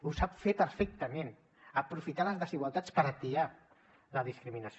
ho sap fer perfectament aprofitar les desigualtats per atiar la discriminació